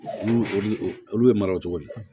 Olu olu olu bɛ mara o cogo di